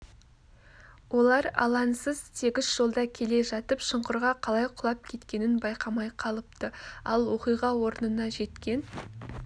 олар алаңысыз тегіс жолда келе жатып шұңқырға қалай құлап кеткенін байқамай қалыпты ал оқиға орнына жеткен